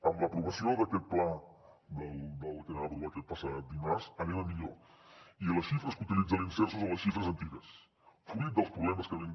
amb l’aprovació d’aquest pla del que vam aprovar aquest passat dimarts anem a millor i les xifres que utilitza l’imserso són les xifres antigues fruit dels problemes que vam